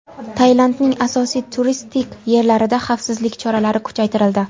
Tailandning asosiy turistik yerlarida xavfsizlik choralari kuchaytirildi.